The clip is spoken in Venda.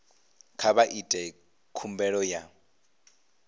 kha vha ite khumbelo ya